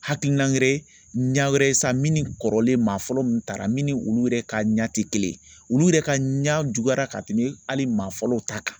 Hakilina wɛrɛ ɲɛ wɛrɛ sa minnu ni kɔrɔlen maa fɔlɔ mu taara min ni olu yɛrɛ ka ɲɛ ti kelen ye olu yɛrɛ ka ɲɛ juguya ka tɛmɛ hali maa fɔlɔw ta kan